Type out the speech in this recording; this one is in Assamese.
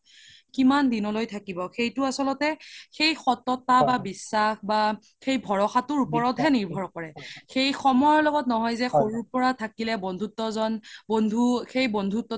কিমান দিনলৈ থাকিব সেইতো আচলতে সেই সততা বা বিশ্বাস বা সেই ভাৰসাতোৰ ওপৰতহে নিৰভৰ কৰে সেই সময়ৰ লগত নহয় যে সৰুৰ পৰা থাকিলে বন্ধুত্বজ্ন বন্ধু সেই বন্ধু